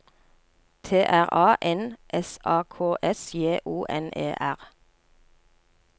T R A N S A K S J O N E R